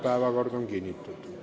Päevakord on kinnitatud.